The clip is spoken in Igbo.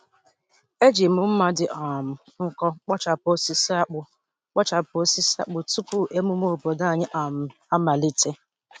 Eji m mma m dị um nkọ kpochapụ osisi akpu kpochapụ osisi akpu tupu emume obodo anyị um amalite.